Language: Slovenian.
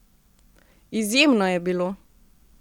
Izjemno je bilo.